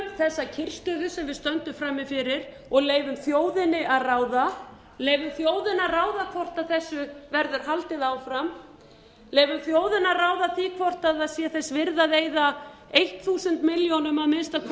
þessa kyrrstöðu sem við stöndum frammi fyrir og leyfum þjóðinni að ráða hvort þessu verður haldið áfram hvort það sé þess virði að eyða eitt þúsund milljónir króna að minnsta kosti